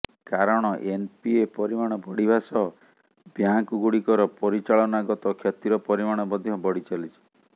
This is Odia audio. କାରଣ ଏନ୍ପିଏ ପରିମାଣ ବଢ଼ିବା ସହ ବ୍ୟାଙ୍କ୍ ଗୁଡ଼ିକର ପରିଚାଳନାଗତ କ୍ଷତିର ପରିମାଣ ମଧ୍ୟ ବଢ଼ିଚାଲିଛି